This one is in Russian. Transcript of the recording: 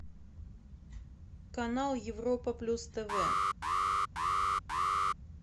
канал европа плюс тв